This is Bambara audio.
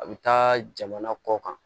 A bɛ taa jamana kɔ kan